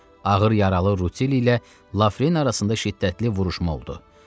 Ağır yaralı Rutilli ilə Lafren arasında şiddətli vuruşma oldu.